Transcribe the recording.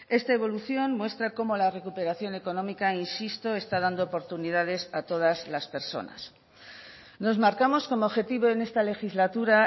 esta evolución muestra cómo la recuperación económica insisto está dando oportunidades a todas las personas nos marcamos como objetivo en esta legislatura